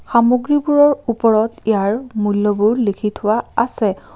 সামগ্ৰীবোৰ ওপৰত ইয়াৰ মূল্যবোৰ লিখি থোৱা আছে।